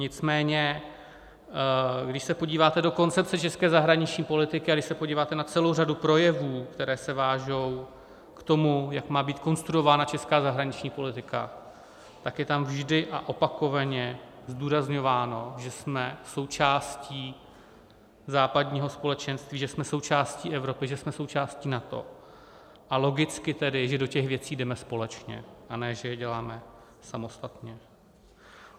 Nicméně když se podíváte do koncepce české zahraniční politiky a když se podíváte na celou řadu projevů, které se vážou k tomu, jak má být konstruována česká zahraniční politika, tak je tam vždy a opakovaně zdůrazňováno, že jsme součástí západního společenství, že jsme součástí Evropy, že jsme součástí NATO, a logicky tedy, že do těch věcí jdeme společně, a ne že je děláme samostatně.